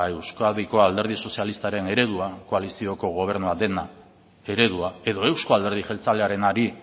euskadiko alderdi sozialistaren eredua koalizioko gobernua den eredua edo euzko alderdi jeltzalearenari